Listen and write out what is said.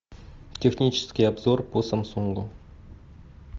технический обзор по самсунгу